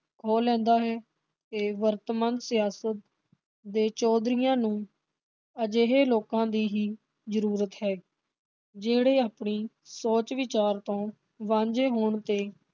ਖੋਹ ਲੈਂਦਾ ਹੈ ਤੇ ਵਰਤਮਾਨ ਸਿਆਸਤ ਦੇ ਚੌਧਰੀਆਂ ਨੂੰ ਅਜਿਹੇ ਲੋਕਾਂ ਦੀ ਹੀ ਜਰੂਰਤ ਹੈ ਜਿਹੜੇ ਆਪਣੀ ਸੋਚ ਵਿਚਾਰ ਤੋਂ ਵਾਂਝੇ ਹੋਣ ਤੇ